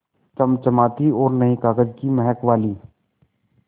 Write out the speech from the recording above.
चमचमाती और नये कागज़ की महक वाली